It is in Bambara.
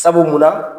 Sabu munna